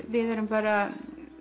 við erum bara